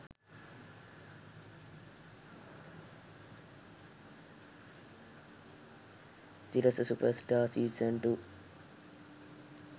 sirasa superstar season 2